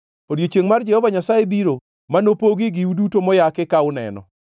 Odiechiengʼ mar Jehova Nyasaye biro ma nopogie giu duto moyaki ka uneno.